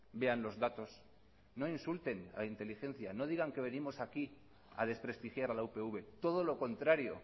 vean los datos no insulten a la inteligencia no digan que venimos aquí a desprestigiar a la upv todo lo contrario